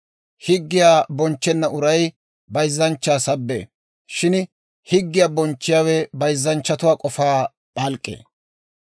Higgiyaa bonchchenna uray bayzzanchchaa sabbee; shin higgiyaa bonchchiyaawe bayzzanchchatuwaa k'ofaa p'alk'k'ee.